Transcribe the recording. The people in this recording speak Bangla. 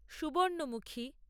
সুবর্ণমুখী